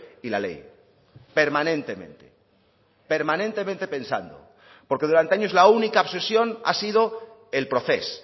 y la ley permanentemente permanentemente pensando porque durante años la única obsesión ha sido el procés